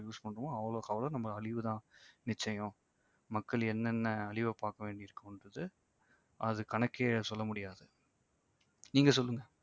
use பண்றமோ அவ்வளவுக்கவ்வளவு நமக்கு அழிவு தான் நிச்சயம். மக்கள் என்னென்ன அழிவை பார்க்க வேண்டியிருக்குன்றது அது கணக்கே சொல்ல முடியாது நீங்க சொல்லுங்க